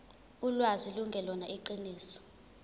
ulwazi lungelona iqiniso